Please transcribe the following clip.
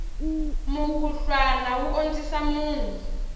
mukhuhlwana wu ondzisa munhu